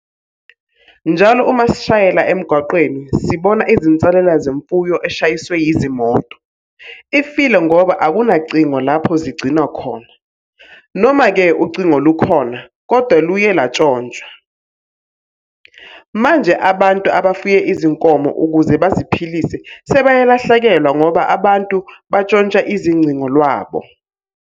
Njalo uma sishayela emgwaqeni sibona izinsalela zemfuyo eshayiswe yizimoto. Ifile ngoba akunacingo lapho zigcinwa khona, noma-ke ucingo lukhona kodwa luye lwantshontshwa. Manje abantu abafuye izinkomo ukuze baziphilise sebeyalahlekelwa ngoba abantu bantshontsha izingcingo lwabo.